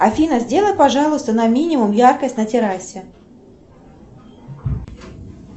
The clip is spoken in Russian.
афина сделай пожалуйста на минимум яркость на террасе